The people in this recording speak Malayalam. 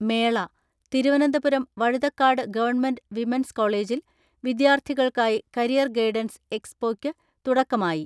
മേള, തിരുവനന്തപുരം വഴുതക്കാട് ഗവൺമെന്റ് വിമൺസ് കോളേജിൽ വിദ്യാർത്ഥികൾക്കായി കരിയർ ഗൈഡൻസ് എക്സ്‌പോക്ക് തുടക്കമായി.